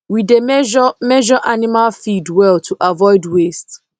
we dey measure measure animal feed well to avoid waste